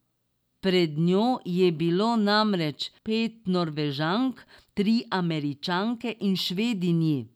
Pred njo je bilo namreč pet Norvežank, tri Američanke in Švedinji.